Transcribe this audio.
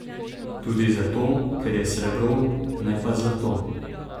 Tudi zato, ker je srebro, ne pa zlato.